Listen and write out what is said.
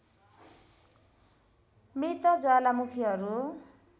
मृत ज्वालामुखीहरू